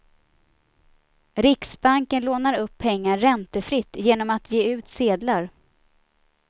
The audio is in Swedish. Riksbanken lånar upp pengar räntefritt genom att ge ut sedlar.